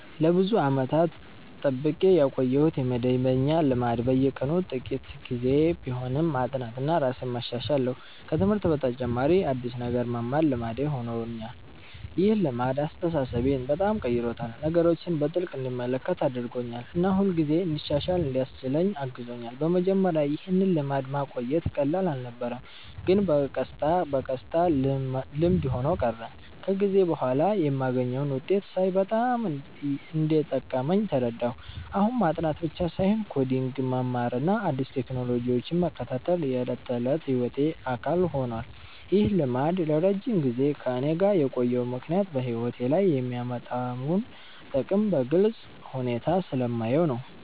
ለብዙ ዓመታት የጠብቄ ያቆየሁት መደበኛ ልማድ በየቀኑ ጥቂት ጊዜ ቢሆንም ማጥናትና ራሴን ማሻሻል ነው። ከትምህርት በተጨማሪ አዲስ ነገር መማር ልማዴ ሆኖኛል። ይህ ልማድ አስተሳሰቤን በጣም ቀይሮታል፤ ነገሮችን በጥልቅ እንድመለከት አድርጎኛል እና ሁልጊዜ እንድሻሻል እንዲያስችለኝ አግዞኛል። በመጀመሪያ ይህን ልማድ ማቆየት ቀላል አልነበረም፣ ግን በቀስታ በቀስታ ልምድ ሆኖ ቀረ። ከጊዜ በኋላ የማገኘውን ውጤት ሳይ በጣም እንደጠቀመኝ ተረዳሁ። አሁን ማጥናት ብቻ ሳይሆን ኮዲንግ መማርና አዲስ ቴክኖሎጂዎችን መከታተል የዕለት ተዕለት ሕይወቴ አካል ሆኗል። ይህ ልማድ ለረጅም ጊዜ ከእኔ ጋር የቆየው ምክንያት በሕይወቴ ላይ የሚያመጣውን ጥቅም በግልጽ ሁኔታ ስለማየው ነው።